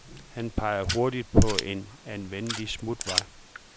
Han peger hurtigt på en anvendelig smutvej.